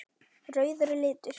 Rauður er litur.